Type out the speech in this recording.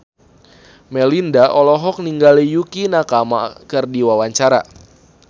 Melinda olohok ningali Yukie Nakama keur diwawancara